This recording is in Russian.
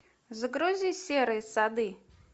загрузи серые сады